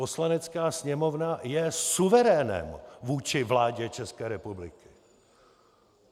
Poslanecká sněmovna je suverénem vůči vládě České republiky!